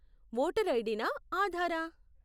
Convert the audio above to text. Voter ID నా, ఆధారా?